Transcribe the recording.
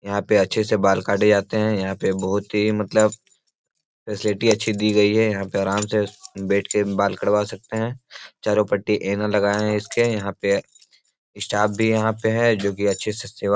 यहाँ पे अच्छे से बाल काटे जाते हैं यहाँ पे बहुत ही मतलब फैसिलिटी अच्छी दी गई है यहाँ पे आराम से बैठ के बाल कटवा सकते हैं चारों पट्टी ऐना लगाए हैं इसके यहाँ पे स्टाफ भी यहाँ पे है जो कि अच्छे से सेवा --